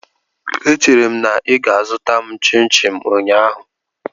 Echere m na ị ga-azụta m chimchim ụnyaahụ.